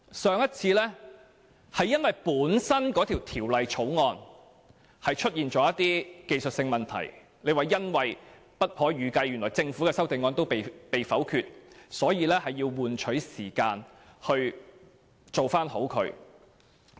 上次是因為法案本身出現了一些技術性問題，政府未有料到其修正案會被否決，以致需要一些時間處理技術性問題。